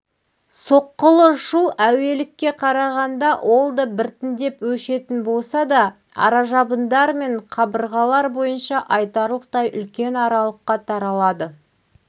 соққылы шу әуелікке қарағанда ол да біртіндеп өшетін болса да аражабындар мен қабырғалар бойынша айтарлықтай үлкен аралыққа таралады